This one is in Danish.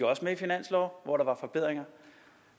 også med i finansloven hvor der var forbedringer